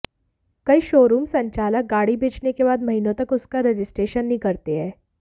कई शोरूम संचालक गाडी बेचने के बाद महीनों तक उसका रजिस्ट्रेशन नहीं करते हैं